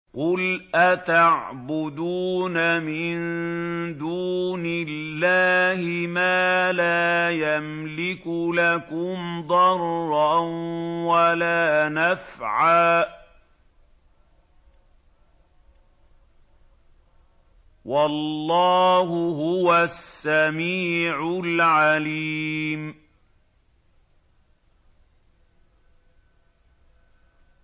قُلْ أَتَعْبُدُونَ مِن دُونِ اللَّهِ مَا لَا يَمْلِكُ لَكُمْ ضَرًّا وَلَا نَفْعًا ۚ وَاللَّهُ هُوَ السَّمِيعُ الْعَلِيمُ